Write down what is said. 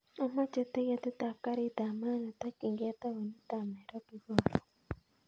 Amoche tiketit ab garit ab maat netokyingei taunit ab nairobi korun